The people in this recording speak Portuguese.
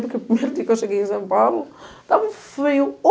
Eu lembro que o primeiro dia que eu cheguei em São Paulo, estava frio